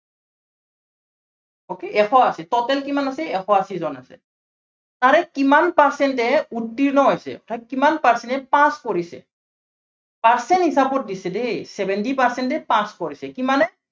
okay এশ আশী, total কিমান আছে এশ আশীজন আছে। তাৰে কিমান percent এ উৰ্ত্তীৰ্ণ হৈছে, অৰ্থাত কিমান percent এ pass কৰিছে। percent হিচাপত দিছে দেই seventy percent এ pass কৰিছে। কিমানে